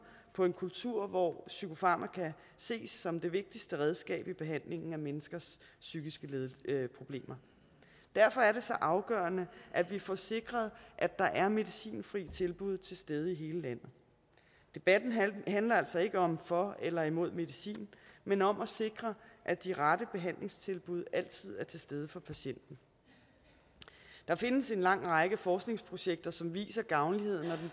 på en kultur hvor psykofarmaka ses som det vigtigste redskab i behandlingen af menneskers psykiske problemer derfor er det så afgørende at vi får sikret at der er medicinfrie tilbud til stede i hele landet debatten handler altså ikke om for eller imod medicin men om at sikre at de rette behandlingstilbud altid er til stede for patienten der findes en lang række forskningsprojekter som viser gavnligheden og